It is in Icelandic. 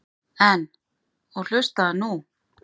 En. og hlustaðu nú